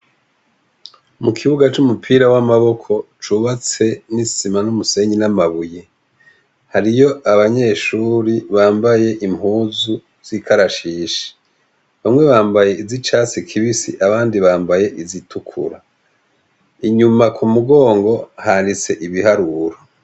Mukibuga c'umupira w'amaboko cubatse n'isima n'umusenyi n'amabuye hariyo abanyeshure bambaye zikarashishi bamwe bambaye izi catsi kibisi abandi bambaye izitukura inyuma kumugongo handitse Ibiharuro.